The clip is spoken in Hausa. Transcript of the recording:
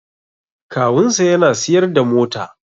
Kawunsa yana siyar da mota